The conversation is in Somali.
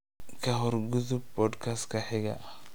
ka hor u gudub podcast-ka xiga